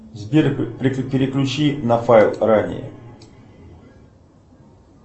сбер переключи на файл ранее